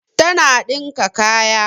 Tana dinka kaya